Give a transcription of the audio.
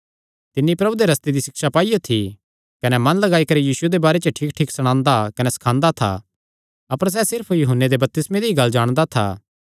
तिन्नी प्रभु दे रस्ते दी सिक्षा पाईयो थी कने मन लगाई करी यीशुये दे बारे च ठीक ठीक सणांदा कने सखांदा था अपर सैह़ सिर्फ यूहन्ने दे बपतिस्मे दी गल्ल जाणदा था